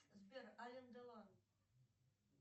сбер ален делон